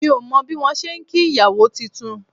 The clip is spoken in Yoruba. Mi ò mọ bí wọn ṣe ń kí ìyàwó titun